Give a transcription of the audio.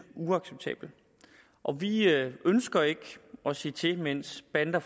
uacceptabel vi ønsker ikke at se til mens bander